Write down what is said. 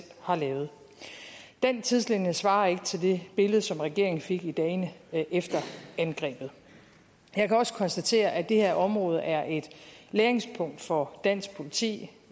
har lavet den tidslinje svarer ikke til det billede som regeringen fik i dagene efter angrebet jeg kan også konstatere at det her område er et læringspunkt for dansk politi